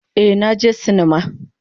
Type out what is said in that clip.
Ee, na je sinima.